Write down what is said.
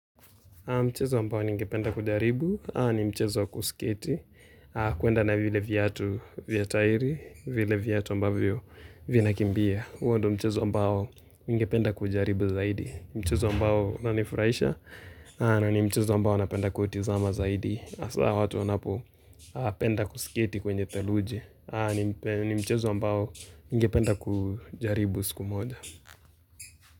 Mchezo ambao ninge penda kujaribu, ni mchezo kusiketi, kuenda na vile viatu vya tairi, vile viatu ambavyo vina kimbia. Huo ndio mchezo ambao ninge penda kujaribu zaidi, mchezo ambao una nifuraisha, na ni mchezo ambao napenda kutizama zaidi. Asa watu wanapo penda kusiketi kwenye theluji, ni mchezo ambao ninge penda kujaribu siku moja.